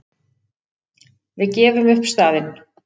Við gefum upp staðinn.